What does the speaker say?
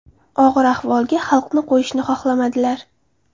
Og‘ir ahvolga xalqni qo‘yishni xohlamadilar.